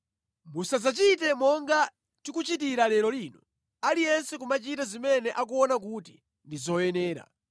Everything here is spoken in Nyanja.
Musadzachite monga tikuchitira lero lino, aliyense kumachita zimene akuona kuti ndi zoyenera,